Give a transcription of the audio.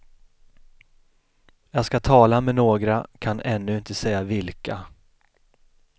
Jag ska tala med några, kan ännu inte säga vilka.